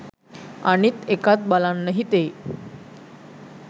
අනිත් එකත් බලන්න හිතෙයි.